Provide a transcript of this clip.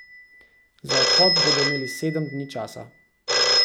Za odhod bodo imeli sedem dni časa.